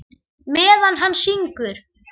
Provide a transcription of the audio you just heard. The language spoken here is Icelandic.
Meðan hann syngur.